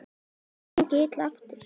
Það hefur gengið illa eftir.